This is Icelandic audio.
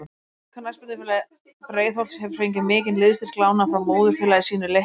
Knattspyrnufélag Breiðholts hefur fengið mikinn liðsstyrk lánaðan frá móðurfélagi sínu Leikni.